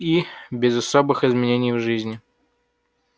и без особых изменений в жизни